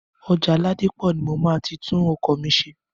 Ọjà Ládípọ̀ ni mo máa ti tún ọkọ̀ mi ṣe.